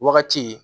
Wagati